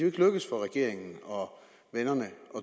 ikke lykkedes for regeringen og vennerne at